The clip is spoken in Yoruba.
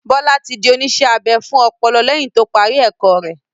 Bọ́sẹ̀ ti di oníṣẹ́-abẹ fún ọpọlọ lẹ́yìn to parí ẹ̀kọ́ rẹ.